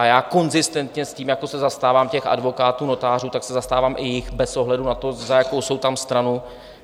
A já konzistentně s tím, jak se zastávám těch advokátů, notářů, tak se zastávám i jich bez ohledu na to, za jakou jsou tam stranu.